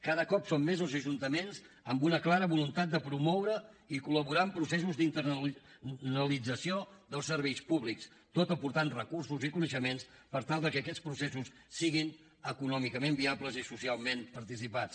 cada cop són més els ajuntaments amb una clara voluntat de promoure i col·laborar en processos d’internalització dels serveis públics tot aportant recursos i coneixements per tal de que aquests processos siguin econòmicament viables i socialment participats